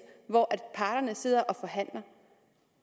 hvor parterne sidder og forhandler